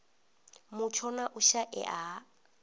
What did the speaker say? mutsho na u shaea ha